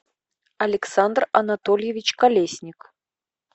александр анатольевич колесник